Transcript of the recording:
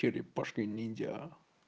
черепашка-ниндзя